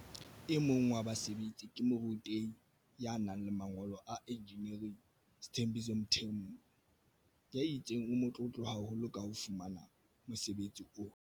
E mong wa basebetsi ke morutehi ya nang le mangolo a injiniering Sthembiso Mthembu ya itseng o motlotlo haholo ka ho fumana mosebetsi ona.